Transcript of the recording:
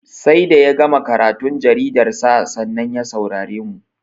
Sai da ya gama karatun jaridarsa, sannan ya saurare mu.